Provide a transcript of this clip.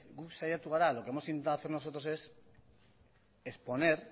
guk saiatu gara lo que hemos intentado hacer nosotros es exponer